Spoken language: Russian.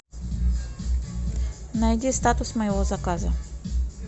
найди статус моего заказа